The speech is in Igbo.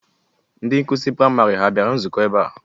Ndị nkụzi praịmarị ha bịara nzukọ ebe a?